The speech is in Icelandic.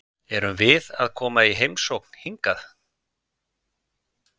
Erum við að koma í heimsókn hingað?